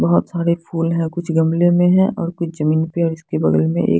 बहोत सारे फूल हैं कुछ गमले में हैं और कुछ जमीन पे और इसके बगल में एक --